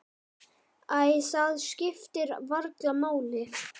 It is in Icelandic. Æ, það skiptir varla máli.